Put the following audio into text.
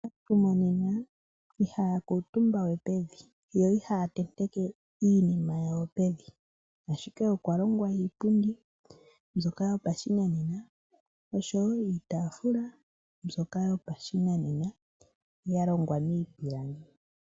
Aantu monena ihaya kuntumba we pevi yo ihaya tenteke iinima yawo pevi ashike okwa longwa iipundi mbyoka yopashinanena niitafula mbyoka yopashinanena yalongwa miipilangi.